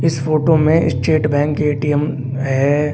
इस फोटो में state bank ATM है।